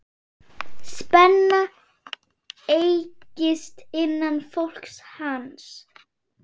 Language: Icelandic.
Spenna eykst innan flokks hans.